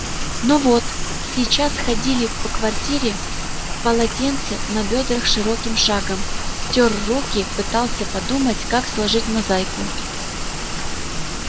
но вот сейчас ходили по квартире в полотенце на бёдрах широким шагом тёр руки пытался подумать как сложить мозаику